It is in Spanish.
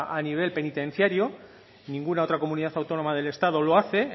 a nivel penitenciario ninguna otra comunidad autónoma del estado lo hace